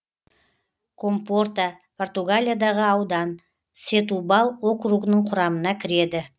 компорта португалиядағы аудан сетубал округінің құрамына кіреді